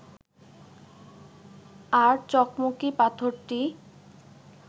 আর চকমকি পাথরটি